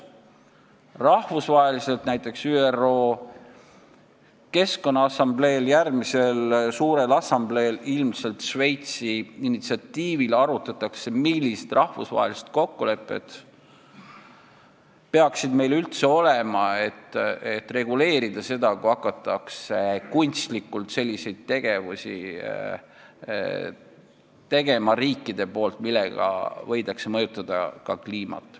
Rahvusvaheliselt, näiteks ÜRO järgmisel suurel keskkonnaassambleel ilmselt Šveitsi initsiatiivil, arutatakse, millised rahvusvahelised kokkulepped peaksid meil üldse olema, et reguleerida seda, kui riigid hakkavad tegema kunstlikult selliseid tegevusi, millega võidakse mõjutada ka kliimat.